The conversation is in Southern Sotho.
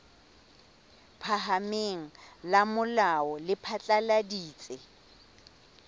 phahameng la molao le phatlaladitse